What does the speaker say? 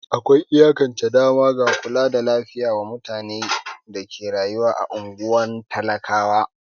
Akwai iyakance dama ga kula da lafiya wa mutane da ke rayuwa a ungwar talakawa.